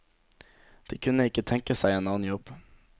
De kunne ikke tenke seg en annen jobb.